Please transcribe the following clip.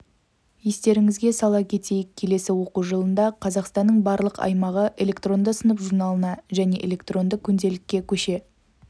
естеріңізге сала кетейік келесі оқу жылында қазақстанның барлық аймағы электронды сынып журналына және электронды күнделікке көше